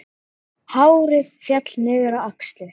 Hárið féll niður á axlir.